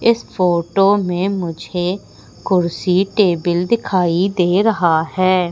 इस फोटो में मुझे कुर्सी टेबल दिखाई दे रहा है।